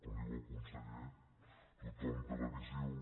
com diu el conseller tothom té la visió